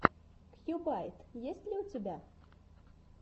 кьюбайт есть ли у тебя